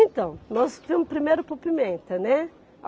Então, nós fomos primeiro para o Pimenta, né?